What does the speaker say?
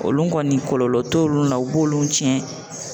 Olu kɔni kɔlɔlɔ t'olu la, u b'olu tiɲɛ.